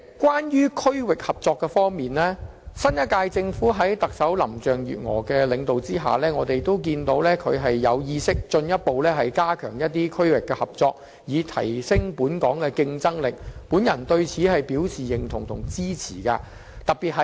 關於區域合作方面，新一屆政府在特首林鄭月娥的領導下，進一步加強與一些區域的合作，以提升本港的競爭力，我對此表示認同及支持。